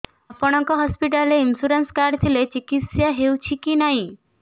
ଆପଣଙ୍କ ହସ୍ପିଟାଲ ରେ insurance card ଥିଲେ ଚିକିତ୍ସା ହେଉଛି କି ନାଇଁ